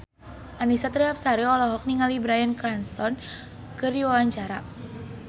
Annisa Trihapsari olohok ningali Bryan Cranston keur diwawancara